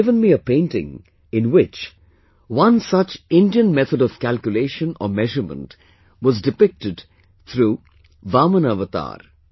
He had given me a painting, in which one such Indian method of calculation or measurement was depicted through Vamana avatar